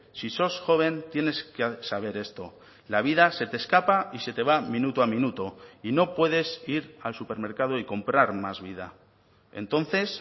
si sos joven tienes que saber esto la vida se te escapa y se te va minuto a minuto y no puedes ir al supermercado y comprar más vida entonces